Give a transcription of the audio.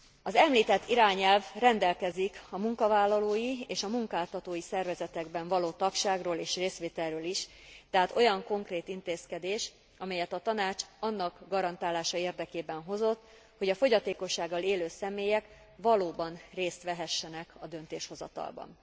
Az említett irányelv rendelkezik a munkavállalói és a munkáltatói szervezetekben való tagságról és részvételről is, tehát olyan konkrét intézkedés, amelyet a Tanács annak garantálása érdekében hozott, hogy a fogyatékossággal élő személyek valóban részt vehessenek a döntéshozatalban.